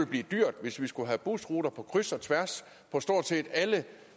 blive dyrt hvis vi skulle have busruter på kryds og tværs på stort set alle